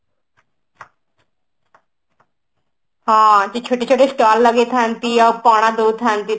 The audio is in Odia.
ହଁ ସେ ଛୋଟ ଛୋଟ stall ଲଗେଇଥାନ୍ତି ଆଉ ପଣା ଦଉଥାନ୍ତି ତ